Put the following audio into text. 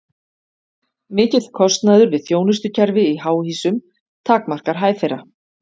Mikill kostnaður við þjónustukerfi í háhýsum takmarkar hæð þeirra.